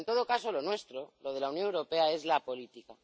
Pero en todo caso lo nuestro, lo de la Unión Europea, es la política.